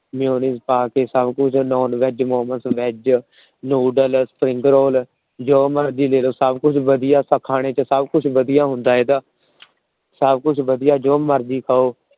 Mayonnaise ਪਾ ਕੇ ਸਭਕੁਛ NonvegMomosVegNoodlesSpringroll ਰੋਲ ਜੋ ਮਰਜ਼ੀ ਲੇਲੋ । ਸਭਕੁਛ ਵਧੀਆ ਖਾਣੇ ਚ ਸਭਕੁਛ ਵਧੀਆ ਹੁੰਦਾ ਇਹਦਾ। ਸਭਕੁਛ ਵਧੀਆ ਜੋ ਮਰਜ਼ੀ ਖਾਓ।